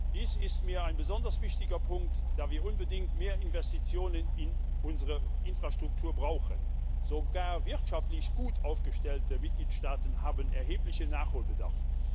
Dies ist mir ein besonders wichtiger Punkt, da wir unbedingt mehr Investitionen in unsere Infrastruktur brauchen. Sogar wirtschaftlich gut aufgestellte Mitgliedstaaten haben erheblichen Nachholbedarf.